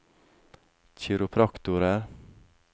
kiropraktorer